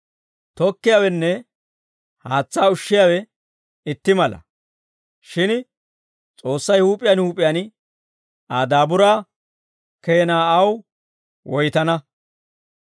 Tokkiyaawenne haatsaa ushshiyaawe itti mala; shin S'oossay huup'iyaan huup'iyaan Aa daaburaa keenaa aw woytana.